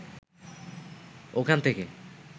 ওখান থেকে